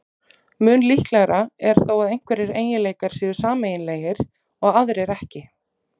Mun líklegra er þó að einhverjir eiginleikar séu sameiginlegir og aðrir ekki.